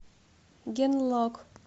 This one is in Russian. генлок